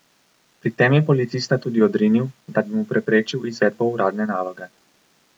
Pri tem je policista tudi odrinil, da bi mu preprečil izvedbo uradne naloge.